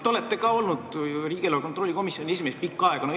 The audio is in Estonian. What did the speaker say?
Te olete ju ka pikka aega riigieelarve kontrolli erikomisjoni esimees olnud.